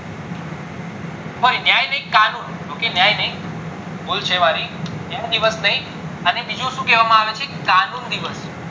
sorry ન્યાય નય કાનુન ભૂલ છે મારી ન્યાય દિવસ નય અને બીજું શું કેવા આવે છે કાનુન દિવસ